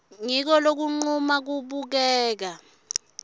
ngiko lokuncuma kubukeka